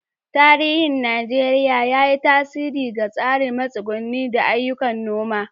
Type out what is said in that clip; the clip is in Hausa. Tarihin Najeriya, ya yi tasiri ga tsarin matsuguni da ayyukan noma.